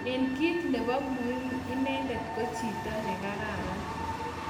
Eng kit nebo muhimu inendet ko chito nekararan